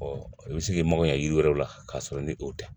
i bɛ se k'i maŋa yiri wɛrɛw la k'a sɔrɔ ni o tɛ